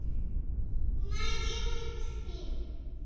найди мультфильм